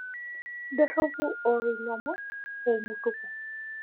idorropu oo ilomon eimu tuko